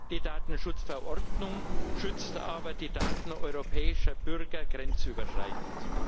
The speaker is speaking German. Die Datenschutzverordnung schützt aber die Daten europäischer Bürger grenzüberschreitend.